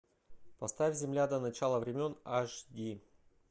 поставь земля до начала времен аш ди